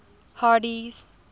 hardee's